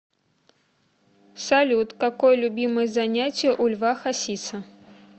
салют какое любимое занятие у льва хасиса